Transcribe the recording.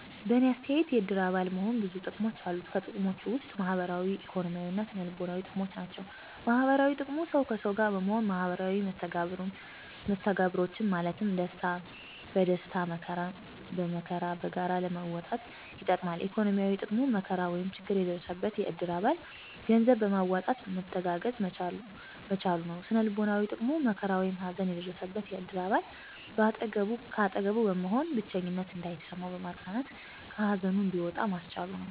በእኔ አተያየት የእድር አባል መሆን ብዙ ጥቅሞች አሉት። ከጥቅሞችም ውስጥ ማህበራዊ፣ ኢኮኖሚያዊ እና ስነ-ልቦናዊ ጥቅሞች ናቸው። -ማህበራዊ ጥቅሙ፦ ሠው ከሠው ጋር በመሆን ማህበራዊ መስተጋብሮችን ማለትም ደስታን በደስታ መከራን በመከራ በጋራ ለመወጣት ይጠቅማል። -ኢኮኖሚያዊ፦ ጥቅሙ መከራ ወይም ችግር የደረሰበትን የእድር አባል ገንዘብ በማዋጣት መተጋገዝ መቻሉ ነው። -ስነ-ልቦናዊ ጥቅሙ፦ መከራ ወይም ሀዘን የደረሠበን የእድር አባል ከአጠገቡ በመሆን ብቸኝነት እንዳይሠማው በማፅናናት ከሀዘኑ እንዲወጣ ማስቻሉ ነው።